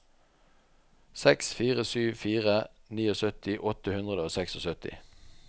seks fire sju fire syttini åtte hundre og syttiseks